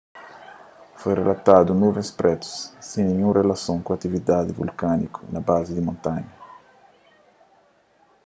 foi rilatadu nuvens prétu sen ninhun rilason ku atividadi vulkániku na bazi di montanha